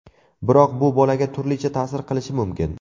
Biroq bu bolaga turlicha ta’sir qilishi mumkin.